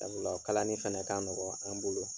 Da o la kalani fɛnɛ ka nɔgɔn an' bolo